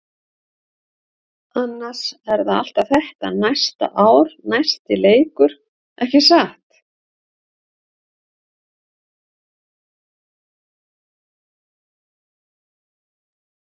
Annars er það alltaf þetta næsta ár-næsti leikur, ekki satt?